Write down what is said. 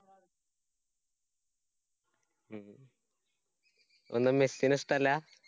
ഒന്ന് മെസ്സിനെ ഇഷ്ടല്ലാ.